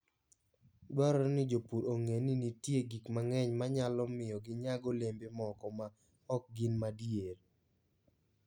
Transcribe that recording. Dwarore ni jopur ong'e ni nitie gik mang'eny ma nyalo miyo ginyag olembe moko ma ok gin madier.